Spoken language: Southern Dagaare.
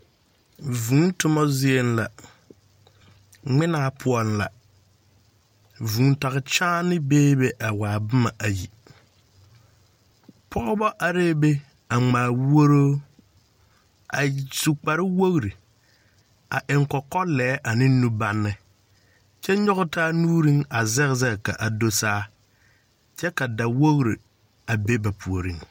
Vũũ toma zieŋ la ŋmaa poɔŋla vũũ tage kyaanee beebe a waa boma ayi. Pɔgeba arɛɛ be a ŋmaa wuoroo. A su kpare wogiri a eŋ kɔkɔlɛɛ ane nubanne, kyɛ nyɔge taa nuuriŋ a zɛge zɛge ka do saa kyɛ ka dawogiri a be ba puoriŋ.